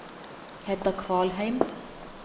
Hedda Kvalheim